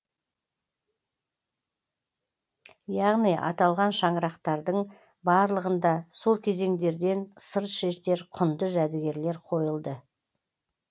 яғни аталған шаңырақтардың барлығында сол кезеңдерден сыр шертер құнды жәдігерлер қойылды